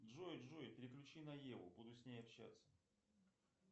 джой джой переключи на еву буду с ней общаться